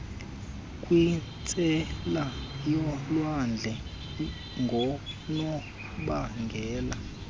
kwintsela yolwandle ngonobangela